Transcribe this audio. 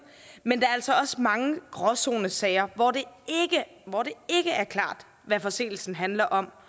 men der er altså også mange gråzonesager hvor det ikke er klart hvad forseelsen handler om